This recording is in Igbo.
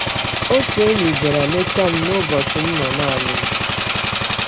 Otu enyi bịara leta m n’ụbọchị m nọ naanị m.